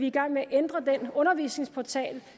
i gang med at ændre den undervisningsportal